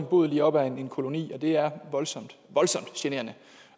boet lige op ad en koloni og det er voldsomt generende